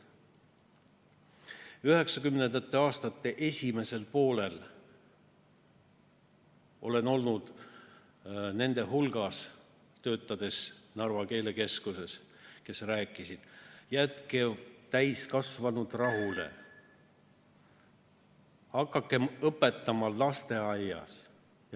1990. aastate esimesel poolel, töötades Narva keelekeskuses, olin nende hulgas, kes rääkisid, et jätke täiskasvanud rahule, hakake parem õpetama lasteaias.